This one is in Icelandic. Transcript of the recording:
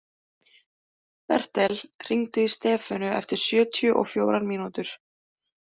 Bertel, hringdu í Stefönu eftir sjötíu og fjórar mínútur.